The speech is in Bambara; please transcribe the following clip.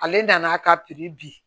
Ale nan'a ka di